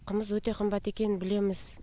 қымыз өте қымбат екенін білеміз